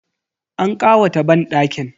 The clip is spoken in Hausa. An ƙawata banɗakin.